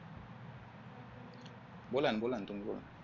बोला ना बोला ना तुम्ही बोला